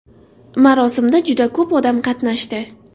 Marosimda juda ko‘p odam qatnashdi.